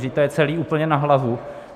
Vždyť to je celé úplně na hlavu.